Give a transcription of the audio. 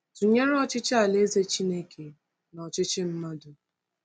Tụnyere ọchịchị Alaeze Chineke na ọchịchị mmadụ.